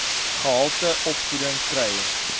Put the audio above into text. gehalte opvoeding kry